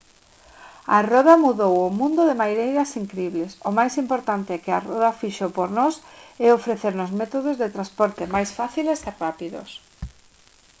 a roda mudou o mundo de maneiras incribles o máis importante que roda fixo por nós é ofrecernos métodos de transporte máis fáciles e rápidos